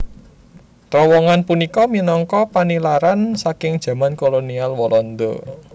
Trowongan punika minangka panilaran saking jaman kolonial Walanda